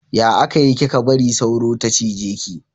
Ya aka yi kika bari sauro ta cije ki?